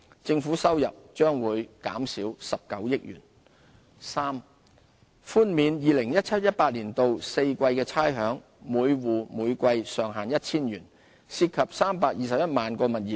政府收入將減少19億元；三寬免 2017-2018 年度4季的差餉，每戶每季上限為 1,000 元，涉及321萬個物業。